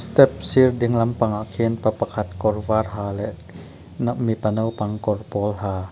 a sir ding lampangah khian pa pakhat kawr var ha leh n-a-u mipa naupang kawr pawl ha --